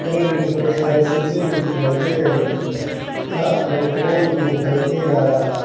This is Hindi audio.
में बहोत सारे शीशे भी दिखाई दे रहे हैं यहां पर एक पोल भी दिखाई दे रहा है।